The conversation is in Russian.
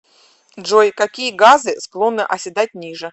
джой какие газы склонны оседать ниже